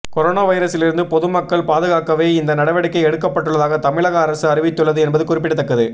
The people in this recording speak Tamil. கொரோனா வைரஸிலிருந்து பொது மக்களை பாதுகாக்கவே இந்த நடவடிக்கை எடுக்கப்பட்டுள்ளதாக தமிழக அரசு அறிவித்துள்ளது என்பது குறிப்பிடத்தக்கது